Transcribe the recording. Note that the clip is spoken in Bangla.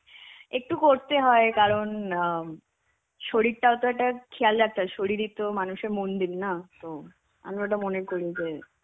একটু করতে হয় কারণ অ্যাঁ শরীরটাও তো একটা খেয়াল রাখতে হয়. শরীরই তো মানুষের মন্দির না. তো আমি ওটা মনে করি যে,